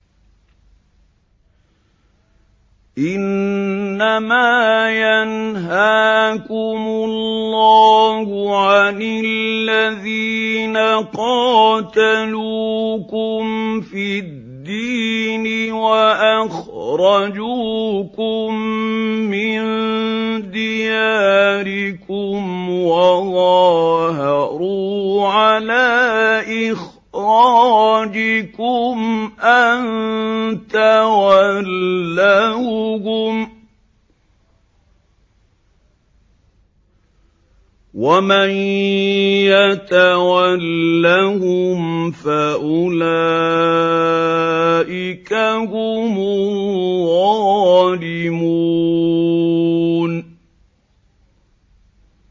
إِنَّمَا يَنْهَاكُمُ اللَّهُ عَنِ الَّذِينَ قَاتَلُوكُمْ فِي الدِّينِ وَأَخْرَجُوكُم مِّن دِيَارِكُمْ وَظَاهَرُوا عَلَىٰ إِخْرَاجِكُمْ أَن تَوَلَّوْهُمْ ۚ وَمَن يَتَوَلَّهُمْ فَأُولَٰئِكَ هُمُ الظَّالِمُونَ